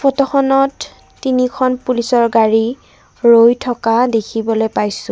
ফটোখনত তিনিখন পুলিচৰ গাড়ী ৰৈ থকা দেখিবলৈ পাইছোঁ।